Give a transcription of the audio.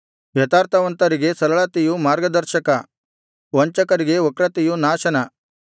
ಯಥಾರ್ಥವಂತರಿಗೆ ಸರಳತೆಯು ಮಾರ್ಗದರ್ಶಕ ವಂಚಕರಿಗೆ ವಕ್ರತೆಯು ನಾಶನ